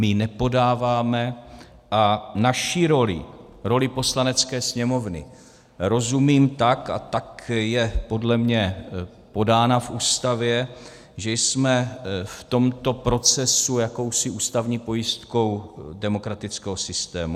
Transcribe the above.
My ji nepodáváme a naší roli, roli Poslanecké sněmovny, rozumím tak a tak je podle mě podána v Ústavě, že jsme v tomto procesu jakousi ústavní pojistkou demokratického systému.